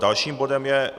Dalším bodem je